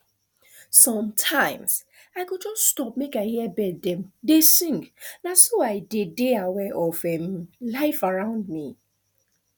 sometimes i go just stop make i hear bird dem dey sing na so i dey dey aware of um life around me